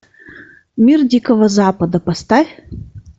мир дикого запада поставь